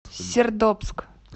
сердобск